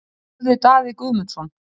spurði Daði Guðmundsson.